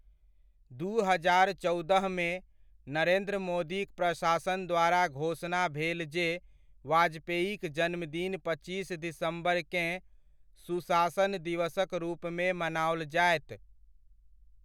दू हजार चौदहमे, नरेन्द्र मोदीक प्रशासन द्वारा घोषणा भेल जे वाजपेयीक जन्मदिन पच्चीस दिसम्बरकेँ सुशासन दिवसक रूपमे मनाओल जायत।